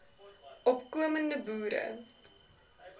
opko mende boere